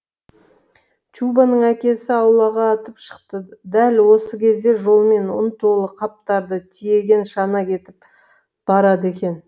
чубоның әкесі аулаға атып шықты дәл осы кезде жолмен ұн толы қаптарды тиеген шана кетіп барады екен